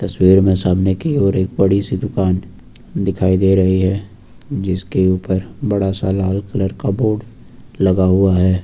तस्वीर में सामने कि ओर एक बड़ी सी दुकान दिखाई दे रही है जिसके ऊपर बड़ा सा लाल कलर का बोर्ड लगा हुआ है।